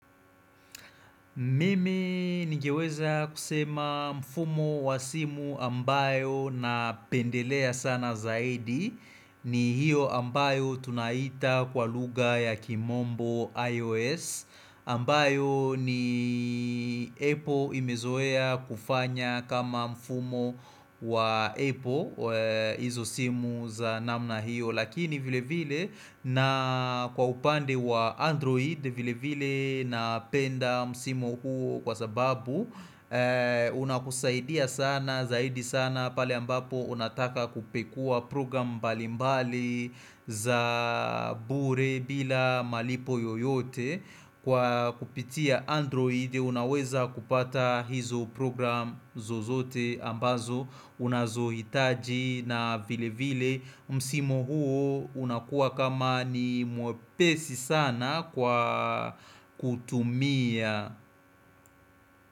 Mimi ningeweza kusema mfumo wa simu ambayo napendelea sana zaidi ni hio ambayo tunaita kwa lugha ya kimombo iOS ambayo ni Apple imezoea kufanya kama mfumo wa Apple hizo simu za namna hiyo Lakini vile vile na kwa upande wa Android vile vile napenda simu huo kwa sababu unakusaidia sana zaidi sana pale ambapo unataka kupekuwa program mbali mbali za bure bila malipo yoyote Kwa kupitia android unaweza kupata hizo program zozote ambazo Unazo hitaji na vile vile msimu huo unakua kama ni mwepesi sana kwa kutumia.